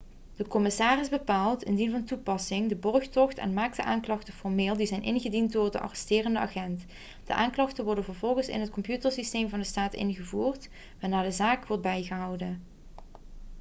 de commissaris bepaalt indien van toepassing de borgtocht en maakt de aanklachten formeel die zijn ingediend door de arresterende agent de aanklachten worden vervolgens in het computersysteem van de staat ingevoerd waarna de zaak wordt bijgehouden